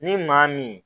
Ni maa min